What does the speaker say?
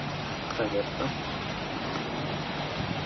проверка